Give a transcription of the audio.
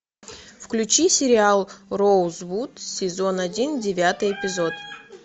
включи сериал роузвуд сезон один девятый эпизод